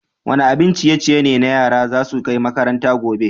Wani abin ciye-ciye ne yaran za su kai makaranta gobe?